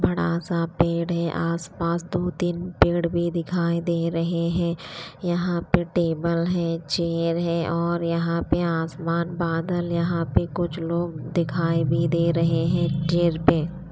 बड़ा सा पेड़ है आसपास दो तीन पेड़ भी दिखाई दे रहे हैं यहां पे टेबल है चेयर है और यहां पे आसमान बादल यहां पे कुछ लोग दिखाई भी दे रहे हैं ट्रेन पे।